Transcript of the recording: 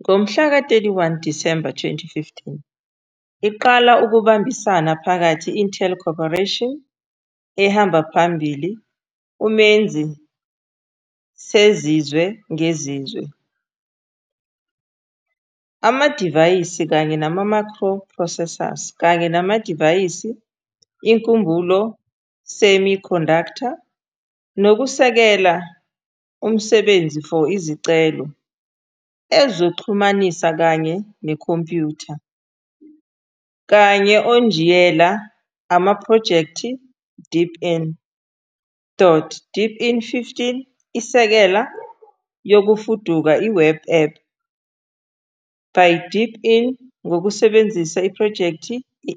Ngomhla ka-31 December 2015 iqala ukubambisana phakathi Intel Corporation, a ehamba phambili umenzi sezizwe ngezizwe Amadivayisi kanye microprocessors kanye namadivayisi inkumbulo semiconductor, nokusekela busebenze for izicelo ezokuxhumana kanye computer, kanye Onjiniyela amaphrojekthi Deepin. deepin 15 isekela yokufuduka Web App by deepin ngokusebenzisa iphrojekthi